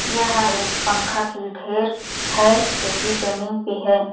यह एक पंखा के ढेर है जो की जमीन पे है।